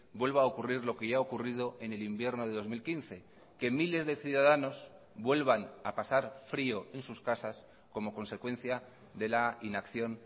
vuelva a ocurrir lo que ya ha ocurrido en el invierno de dos mil quince que miles de ciudadanos vuelvan a pasar frio en sus casas como consecuencia de la inacción